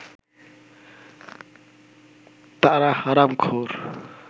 তাঁরা হারামখোর